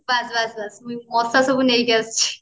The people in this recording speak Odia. ବାସ ବାସ ବାସ ମଶା ସବୁ ନେଇକି ଆସିଛି